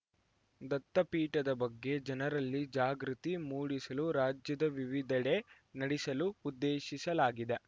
ದತ್ತಪೀಠದ ಬಗ್ಗೆ ಜನರಲ್ಲಿ ಜಾಗೃತಿ ಮೂಡಿಸಲು ರಾಜ್ಯದ ವಿವಿಧೆಡೆ ನಡೆಸಲು ಉದ್ದೇಶಿಸಲಾಗಿದೆ